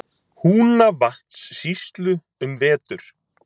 Húnavatnssýslu, um vetur.